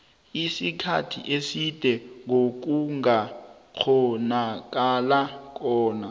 isikhathi eside ngokungakghonakalako